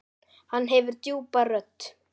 Hann hefur djúpa rödd.